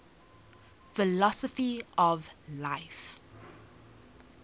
philosophy of life